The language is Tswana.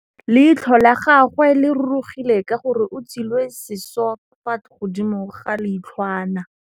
Leitlhô la gagwe le rurugile ka gore o tswile sisô fa godimo ga leitlhwana.